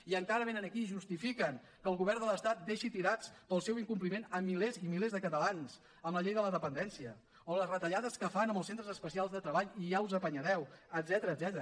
i encara vénen aquí i justifiquen que el govern de l’estat deixi tirats pel seu incompliment milers i milers de catalans amb la llei de la dependència o les retallades que fan en els centres especials de treball i ja us apanyareu etcètera